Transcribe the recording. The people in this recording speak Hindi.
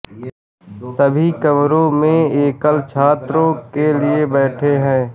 सभी कमरों में एकल छात्रों के लिए बैठे हैं